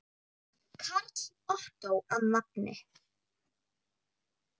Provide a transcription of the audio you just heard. Karl Ottó að nafni.